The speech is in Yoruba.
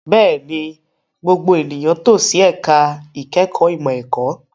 Bẹ́ẹ̀ni, gbogbo ènìyàn tò sí ẹ̀ka ìkẹ́kọ̀ọ́ ìmọ̀ ẹ̀kọ́.